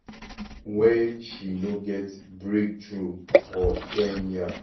wen she no get breakthrough for kenya.